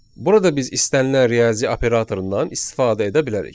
Burada biz istənilən riyazi operatorundan istifadə edə bilərik.